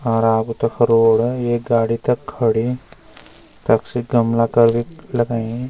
अर आग तख रोड एक गाडी तख खड़ीं तख सी गमला करिक लगयीं।